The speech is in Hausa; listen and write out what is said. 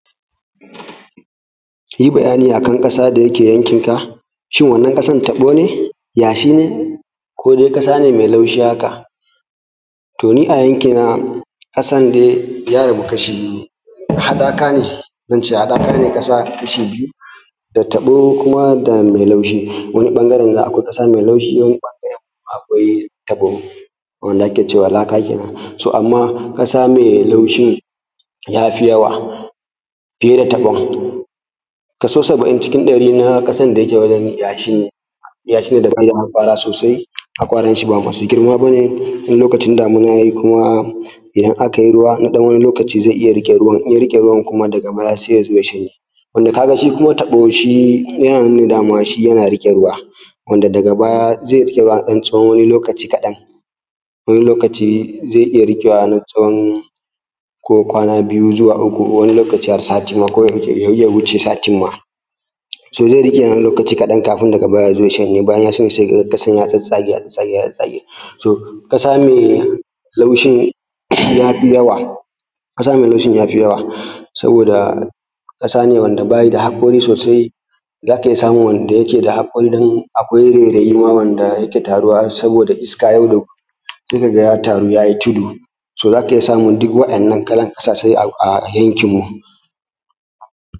Yi bayani akan ƙasa da yaƙe yankin ka shin wannan ƙasan taɓo ne yashi ne ko da ƙasa ne me laushi haka to ni a yanki na ƙasan dai ya rabu kashi biyu hanaka ne zance haɗaka ne ƙasa kashi biyu ta taɓo kuma da mai laushi wannan ɓangare akwai ƙasa mai laushi wannan ɓangare akwai taɓo wanda ake cewa laka kenan to amma ƙasa mai laushi ya fi yawa fiye da na taɓon kaso saba'in cin ɗari na ƙasan ta yake wajen yashi ne yashi ne da ƙala kan kwara sosai haƙoran shi ba masu girma ba ne sai kuma in lokacin damina yai kuma inda ake ruwa na ɗan wannan lokaci ze iya riƙe ruwa in ya riƙe ruwa da ga baya sai ya zo ya shanye wanda ka ga shi kuma tabo shi yana nuna dama shi yana riƙe ruwa wanda daga baya ze riƙe na tsawon lokaci kaɗan wanni ze iya riƙewa na tsawon lokaci ko kwana biyu ko kuma wannan lokaci ma a sati mana ya iya wuce sati mana so ze riƙe na ɗan wannan lokaci kaɗan kafun ya zo ya shanye bayan ya shanye se ka ga ƙasan ya tsatsage ya tsatsage ya tsatsage so ƙasa me laushi ya fi yawa ƙasa me laushin ya fi yawa so da ƙasa ne wanda ba yi da hanƙori sosai za ka iya samun wanda yake da hanƙori akwai wanda yake da girma wanda yake taruwa soboda isaka yau da gobe se ka ga ya a taruwa yai tudu so za ka iya samun duk waɗanan kalan a sasai a yankin mu.